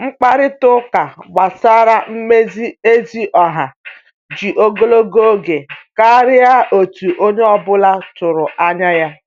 Mkpakorịta ụka gbasara mmezi ezi ọha ji ogologo oge karịa otu onye ọ bụla tụrụ anya ya.